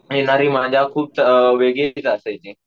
मिळणारी मजा खूप त वेगळीच असायची